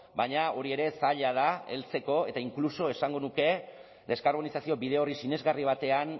baina hori ere zaila da heltzeko eta inkluso esango nuke deskarbonizazio bide hori sinesgarri batean